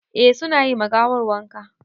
Eh su na yi ma gawar wanka.